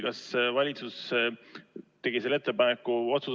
Kas valitsus tegi selle otsuse?